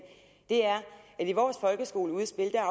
er at i vores folkeskoleudspil er